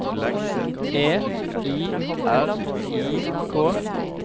E I R I K